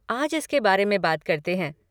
आज इसके बारे में बात करते हैं।